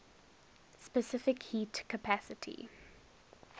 specific heat capacity